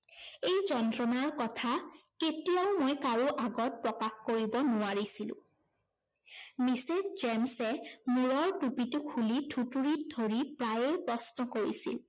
এই যন্ত্ৰণাৰ কথা কেতিয়াও মই কাৰো আগত প্ৰকাশ কৰিব নোৱাৰিছিলো। mrs. জেমছে মূৰৰ টুপিটো খুলি থুঁতৰিত ধৰি প্ৰায়ে প্ৰশ্ন কৰিছিল